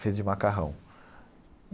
Feito de macarrão.